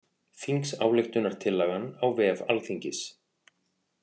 Þingsályktunartillagan á vef Alþingis